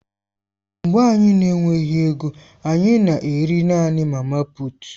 Mgbe anyị na-enweghị ego, anyị na-eri naanị mama puut.